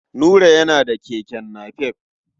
Nura yana da keke napep.